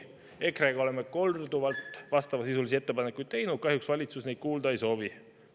EKRE on korduvalt vastavasisulisi ettepanekuid teinud, kahjuks valitsus neid kuulda ei soovi.